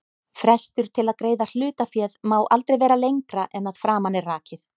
Frestur til að greiða hlutaféð má aldrei vera lengra en að framan er rakið.